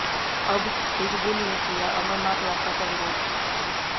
अब हिजबुल ने किया अमरनाथ यात्रा का विरोध